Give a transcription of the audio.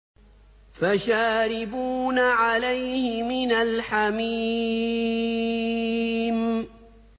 فَشَارِبُونَ عَلَيْهِ مِنَ الْحَمِيمِ